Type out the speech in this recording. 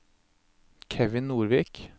Kevin Nordvik